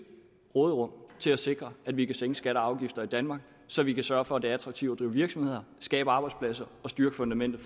råderum til at sikre at vi kan sænke skatter og afgifter i danmark så vi kan sørge for at det er attraktivt at drive virksomheder skabe arbejdspladser og styrke fundamentet